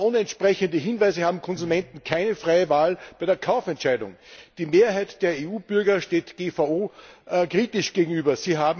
Aber ohne entsprechende Hinweise haben Konsumenten keine freie Wahl bei der Kaufentscheidung. Die Mehrheit der EU Bürger steht GVO kritisch gegenüber.